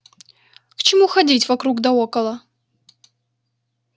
к чему ходить вокруг да около